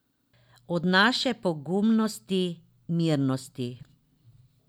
Od naše pogumnosti, mirnosti.